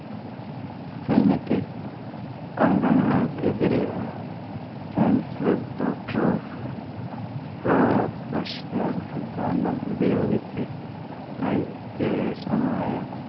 senate അംഗങ്ങള്‍ക്കെതിരെ chancellordoctor of സിദ്ദാന്തം ഉപയോഗിച്ച് ഹൈ കേഷണമായ